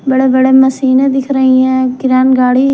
बड़े बड़े मशीनें दिख रही हैं किरैन गाड़ी --